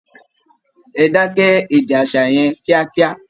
Ẹ dákẹ́ èdè aṣa yẹn kíákíá!